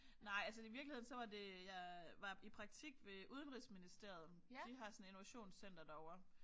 Nej altså i virkeligheden så var det jeg var i praktik ved Udenrigsministeriet de har sådan innovationscenter derovre